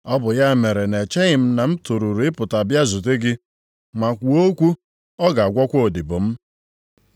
Ọ bụ ya mere na-echeghị m na m toruru ịpụta bịa zute gị. Ma kwuo okwu, ọ ga-agwọkwa odibo m.